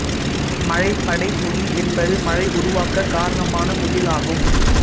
மழைப் படைமுகில் என்பது மழை உருவாகக் காரணமான முகில் ஆகும்